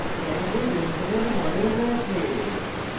panel benzene benzene we model রয়েছে